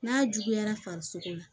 N'a juguyara farisogo la